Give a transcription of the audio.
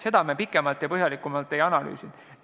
Seda me pikemalt ja põhjalikumalt ei analüüsinud.